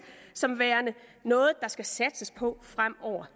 som værende noget der skal satses på fremover